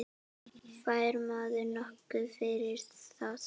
Fær maður nokkuð fyrir það?